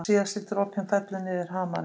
Síðasti dropinn fellur niður hamarinn.